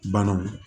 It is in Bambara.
Bananw